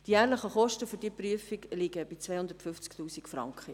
Die jährlichen Kosten dieser Prüfung liegen bei 250 000 Franken.